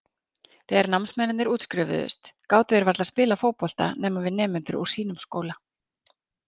Þegar námsmennirnir útskrifuðust gátu þeir varla spilað fótbolta nema við nemendur úr sínum skóla.